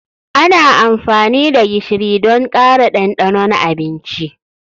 Ana amfani da gishiri don ƙara ɗanɗanon abinci.